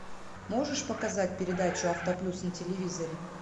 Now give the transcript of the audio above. можешь показать передачу авто плюс на телевизоре